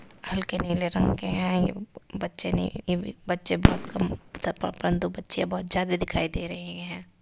हलके के नीले रंग है। ये बच्चे नहीं एवं बच्चे बहोत कम बच्चे बहुत ज़्यादा दिखाए दे रहे हैं।